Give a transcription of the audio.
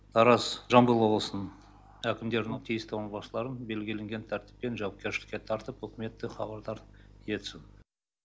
тараз жамбыл облысының әкімдерінің тиісті орынбасыларын белгіленген тәртіппен жауапкершілікке тартып үкіметті хабардар етсін